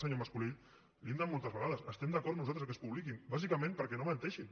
senyor mas colell li ho hem dit moltes vegades estem d’acord nosaltres que es publiquin bàsicament perquè no menteixin